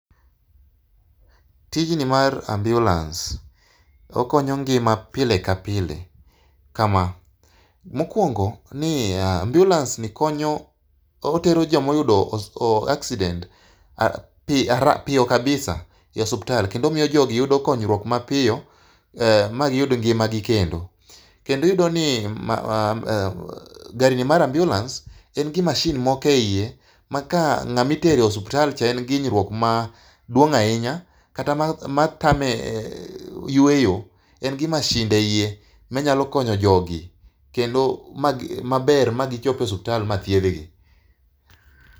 Tijni mar ambulance okonyo ngima pile ka pile kama : mokwongo ni ya ambulance ni konyo otero jomo yudo o accdident piyo kabisa e osiptal kendo miyo jogi yudo konyruok mapiyo ma giyud ngimagi kendo . Kendo iyudo ni gari ni mar ambulance en gi masin moko e iye ma ka ng'ami tere osiptal cha en gi hinyruok maduong' ahinya kata matame yueyo, en gi masinde eiye manyalo konyo jogi kendo magi maber ma gichop e osiptal ma thiedh gi.